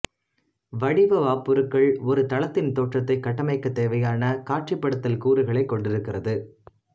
வடிவ வாப்புருக்கள் ஒரு தளத்தின் தோற்றத்தை கட்டமைக்கத் தேவையான காட்சிப்படுத்தல் கூறுகளைக் கொண்டிருக்கிறது